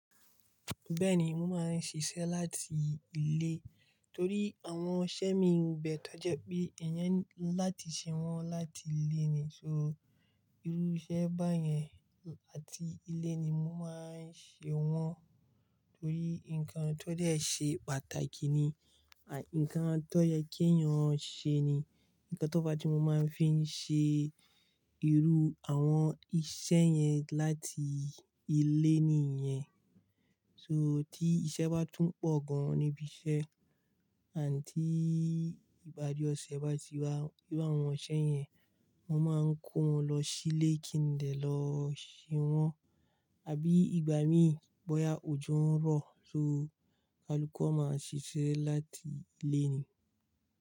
Bẹ́ẹ̀ni, mo máa ń ṣiṣẹ́ láti ilé torí àwọn iṣẹ́ mi ń bẹ tọ́je pé, èèyàn ńlá ti ṣe wọ́n láti ilé ni, so irú iṣẹ́ bá yẹn, láti ilé ni mo máa ń ṣe wọ́n torí nǹkan tó dé ṣe pàtàkì ni, nǹkan tó yẹ kí èèyàn ṣe ni, nǹkan tó bá ti mo máa ń fi ṣe irú àwọn iṣẹ́ yẹn láti ilé nìyẹn. So tí iṣẹ́ bá tún pọ̀ gan níbi iṣẹ́ àti ìpárìí ọṣẹ bá ti wá, iru àwọn iṣẹ yẹn, mo máa ń kó wọn lọ sílé kí n dẹ̀ lọ ṣe wọ́n. Àbí ìgbà mí bọ́ya òjò ń rọ̀, só kalukú, a máa ṣiṣẹ́ láti ilé ni.